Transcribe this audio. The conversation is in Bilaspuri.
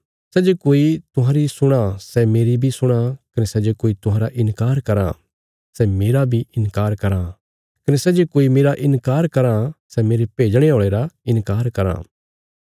सै जे कोई तुहांरी सुणां सै मेरी बी सुणां कने सै जे कोई तुहांरा इन्कार कराँ सै मेरा बी इन्कार कराँ कने सै जे कोई मेरा इन्कार कराँ सै मेरे भेजणे औल़े रा इन्कार कराँ